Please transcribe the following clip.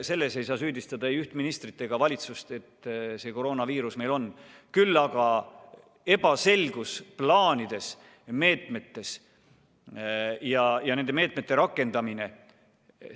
Selles ei saa süüdistada ei üht ministrit ega valitsust, et see koroonaviirus meil on, küll aga saab neid süüdistada ebaselgetes plaanides-meetmetes ja nende meetmete rakendamises.